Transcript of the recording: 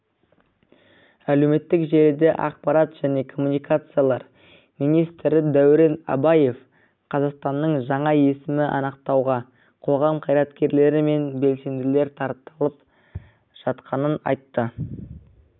әлеуметтік желіде ақпарат және коммуникациялар министрі дәурен абаев қазақстанның жаңа есімін анықтауға қоғам қайраткерлері мен белсенділер тартылып жатқанын айтты